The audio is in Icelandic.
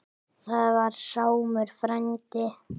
Það var Sámur frændi.